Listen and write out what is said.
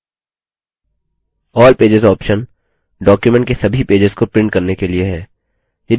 all pages option document के सभी pages को प्रिंट करने के लिए है